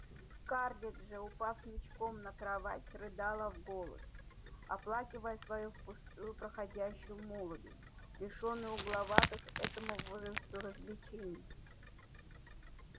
скарлетт же упав ничком на кровать рыдала в голос оплакивая свою впустую проходящую молодость лишённую угловатых этому возрасту развлечений